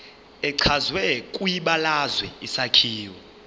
echazwe kwibalazwe isakhiwo